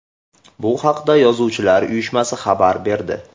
Bu haqda Yozuvchilar uyushmasi xabar berdi .